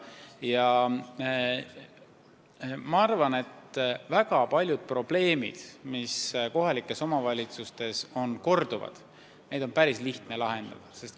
Ja ma arvan, et väga paljusid probleeme, mis kohalikes omavalitsustes on korduvad, on päris lihtne lahendada.